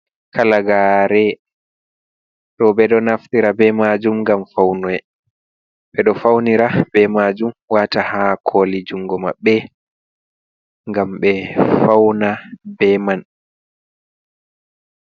Kalagare ɗo ɓeɗo naftira be majum ngam ɓeɗo faunira be majum, wata ha koli jungo maɓɓe ngam be fauna be man.